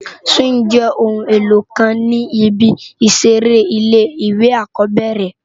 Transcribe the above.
Sìwíngì jé óoún éló kán ni ibi iṣèré ilé iwé ákòbèrè